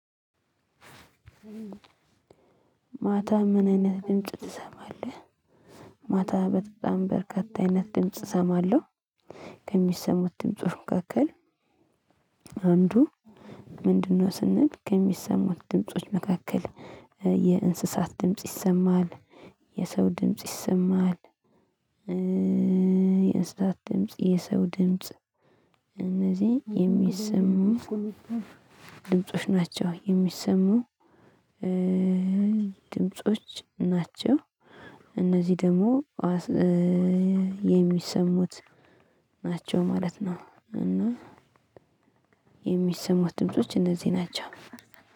ማታ ምን አይነት ድምጽ ትሰማለህ? ማታ በጣም በርካታ አይነት ድምጽ እሰማለሁ። ከሚሰሙት ድምጽ መካከል አንዱ ምንድነው ስንል ከሚሰሙት ድምጾች መካከል የእንስሳት ድምጽ ይሰማሃል፣ የሰው ድምጽ ይሰማል፣ የእንስሳት ድምጽ የሰው ድምጽ እነዚህ የሚሰሙ ድምጾች ናቸው የሚሰሙ ድምጾች ናቸው እነዚህ ደግሞ የሚሰሙት ናቸው ማለት ነው። እና የሚሰሙት ድምጾች እነዚህ ናቸው።